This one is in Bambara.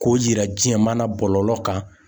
K'o yira jɛnmaa na bɔlɔlɔ kan.